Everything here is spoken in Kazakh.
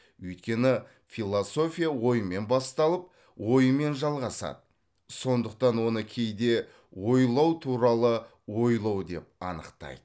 өйткені философия оймен басталып оймен жалғасады сондықтан оны кейде ойлау туралы ойлау деп анықтайды